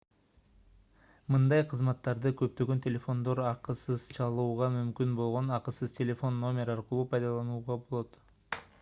мындай кызматтарды көптөгөн телефондордон акысыз чалууга мүмкүн болгон акысыз телефон номер аркылуу пайдаланууга болот